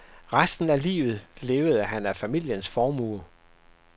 Resten af livet levede han af familiens formue.